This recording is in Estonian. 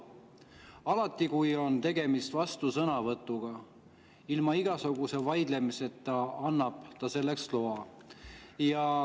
Alati, kui on tegemist vastusõnavõtuga, ilma igasuguse vaidlemiseta annab ta selleks loa.